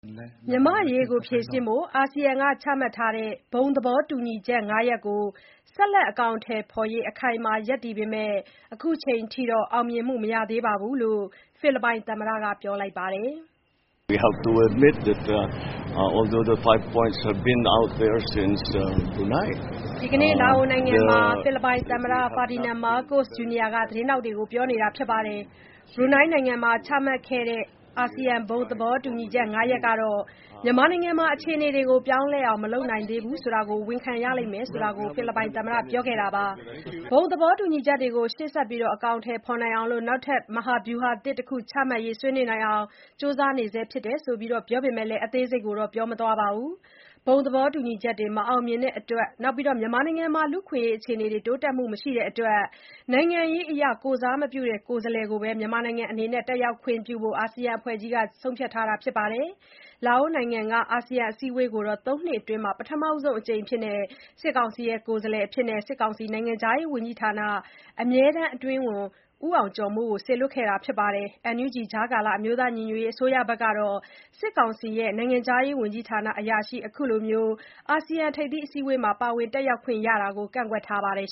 မြန်မာ့အရေး ဖြေရှင်းဖို့ အာဆီယံက ချမှတ်ထားတဲ့ ဘုံသဘောတူညီချက် ၅ ရပ်ကို ဆက်လက် အကောင်အထည်ဖော်ရေး အခိုင်အမာ ရပ်တည်ပေမဲ့၊ အခုအချိန်အထိ အောင်မြင်မှု မရှိသေးကြောင်း ဖိလစ်ပိုင် သမ္မတက ပြောလိုက်ပါတယ်။ ဘရူနိုင်းနိုင်ငံမှာ ချမှတ်ခဲ့တဲ့ ဘုံသဘောတူညီချက် ၅ ရပ်ဟာ မြန်မာနိုင်ငံမှာ အခြေအနေတွေ ပြောင်းလဲအောင် မလုပ်နိုင်သေးဘူး ဆိုတာကို ဝန်ခံရလိမ့်မယ်လို့ ဖိလစ်ပိုင်သမ္မတ Ferdinand Marcos Jr. က ဒီနေ့ လာအိုနိုင်ငံမှာ သတင်းထောက်တွေကို ပြောလိုက်တာပါ။ ဘုံသဘောတူညီချက်တွေ ရှေ့ဆက်အကောင်အထည်ဖေါ်နိုင်အောင် နောက်ထပ် မဟာဗျုဟာသစ်တခု ချမှတ်ရေး ဆွေးနွေးနိုင်အောင် ကြိုးစားနေဆဲဖြစ်တယ်လို့လည်း ပြောပေမဲ့ အသေးစိတ်ကိုတော့ မပြောပါဘူး။ ဘုံသဘောတူညီချက်တွေ မအောင်မြင်တာအပြင် လူ့အခွင့်အရေးအခြေအနေ တိုးတက်မှု မရှိတဲ့အတွက် နိုင်ငံရေးအရ ကိုယ်စားမပြုတဲ့ ကိုယ်စားလှယ်ကိုပဲ တက်ရောက်ခွင့်ပြုဖို့ အာဆီယံအဖွဲ့ကြီးက ဆုံးဖြတ်ထားပါတယ်။ လာအိုနိုင်ငံက အာဆီယံ အစည်းအဝေးကိုတော့ ၃ နှစ်အတွင်း ပထမဆုံးအကြိမ်အဖြစ် စစ်ကောင်စီက ကိုယ်စားလှယ်အဖြစ် နိုင်ငံခြားရေးဝန်ကြီးဌာန အမြဲတမ်းအတွင်းဝန် ဦးအောင်ကျော်မိုး ကို စေလွှတ်ခဲ့တာပါ။ NUG အမျိုးသားညီညွတ်ရေး အစိုးရကတော့ စစ်ကောင်စီ နိုင်ငံခြားရေးဝန်ကြီးဌာန အရာရှိတဦး အခုလို ထိပ်သီးအစည်းအဝေးမှာ ပါဝင်တက်ရောက်တာကို ကန့်ကွက်ထားပါတယ်